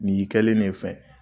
Nin y'i kɛlen de ye fɛn ye.